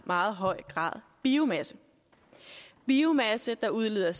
meget høj grad biomasse biomasse der udleder